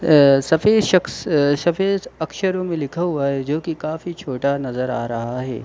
अ सफेद शक्ष अ सफेद अक्षरों में लिखा हुआ है जोकि काफ़ी छोटा नजर आ रहा है।